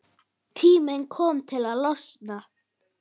Tími kominn til að losna.